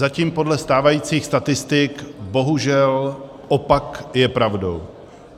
Zatím podle stávajících statistik bohužel opak je pravdou.